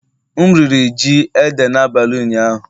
M riri ji Ede n'abalị ụnyaahụ